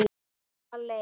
Ég var alein.